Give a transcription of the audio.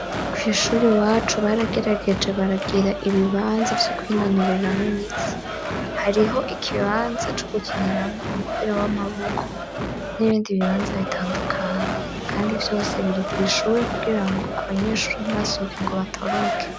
Kwishuri iwacu baragerageje baragira ibibanza vyo kwinonoreramwo imitsi hariho ikibanza co gukiniramwo umupira w'amaboko n'ibindi bibanza bitandukanye kandi vyose biri kwishuri kugira ngo abanyeshuri ntibasohoke ngo batoroke.